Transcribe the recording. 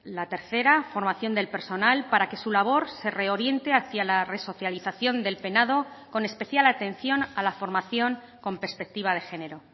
la tercera formación del personal para que su labor se reoriente hacia la resocialización del penado con especial atención a la formación con perspectiva de género